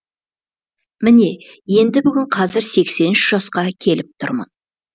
міне енді бүгін қазір сексен үш жасқа келіп тұрмын